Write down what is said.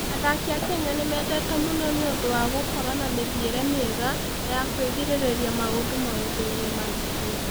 Athaki a Kenya nĩ mendetwo mũno nĩ ũndũ wa gũkorũo na mĩthiĩre mĩega na ya kwĩgirĩrĩria maũndũ maũndũ-inĩ maritũ.